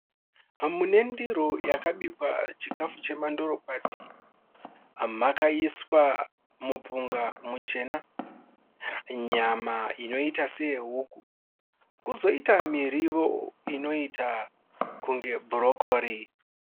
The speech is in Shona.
Mune ndiro yakabikwa chikafu chemandorokwati, makaiswa mupunga muchena, nyama inoita seyehuku kozoita miriwo inoita sebhurokoli.